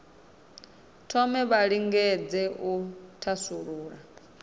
thome vha lingedze u thasulula